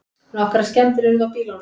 Nokkrar skemmdir urðu á bílunum